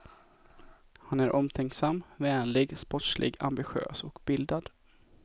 Han är omtänksam, vänlig, sportslig, ambitiös och bildad.